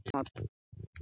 Hödd: Bara góðu gæjarnir?